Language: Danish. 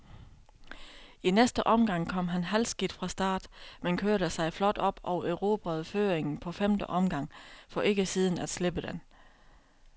I næste omgang kom han halvskidt fra start, men kørte sig flot op og erobrede føringen på femte omgang, for ikke siden at slippe den.